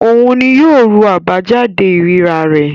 Òun ni yóò ru àbájáde ìríra rẹ̀.